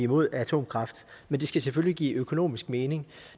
mod atomkraft men det skal selvfølgelig give økonomisk mening